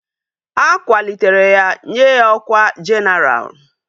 A kwalitere ya nye ya ọkwá jenaral